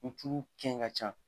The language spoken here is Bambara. Ni tulu kɛn ka can,